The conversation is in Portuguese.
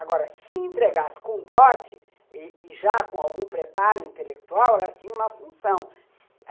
Agora, se entregasse com dote e e já com algum preparo intelectual, ela tinha uma função.